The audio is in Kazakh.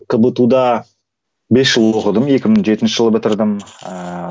кбту да бес жыл оқыдым екі мың жетінші жылы бітірдім ыыы